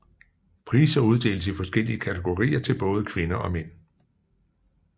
Priser uddeles i forskellige kategorier til både kvinder og mænd